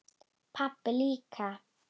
Pabbi líka.